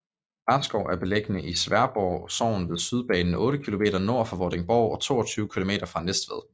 Klarskov er beliggende i Sværdborg Sogn ved Sydbanen otte kilometer nord for Vordingborg og 22 kilometer syd for Næstved